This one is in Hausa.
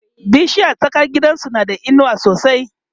bishiyar tsakar gidansu na da inuwa sosai